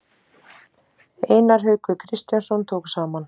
Einar Haukur Kristjánsson tók saman.